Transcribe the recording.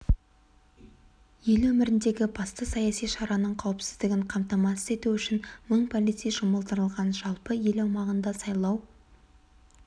ел өміріндегі басты саяси шараның қауіпсіздігін қамтамасыз ету үшін мың полицей жұмылдырылған жалпы ел аумағында сайлау